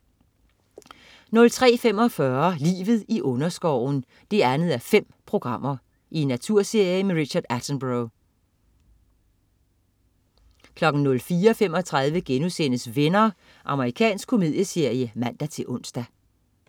03.45 Livet i underskoven 2:5. Naturserie med Richard Attenborough 04.35 Venner.* Amerikansk komedieserie (man-ons)